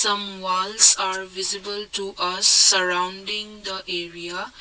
Some walls are visible to us surrounding the area.